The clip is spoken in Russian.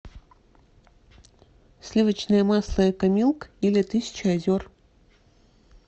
сливочное масло экомилк или тысяча озер